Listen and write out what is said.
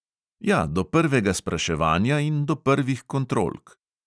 Ja, do prvega spraševanja in do prvih kontrolk.